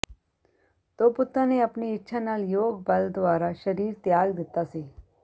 ਦੋ ਪੁੱਤਾਂ ਨੇ ਆਪਣੀ ਇੱਛਾ ਨਾਲ ਯੋਗ ਬਲ ਦੁਆਰਾ ਸਰੀਰ ਤਿਆਗ ਦਿੱਤਾ ਸੀ